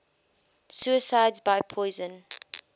suicides by poison